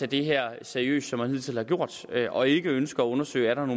det her seriøst som man hidtil har gjort og ikke ønsker at undersøge om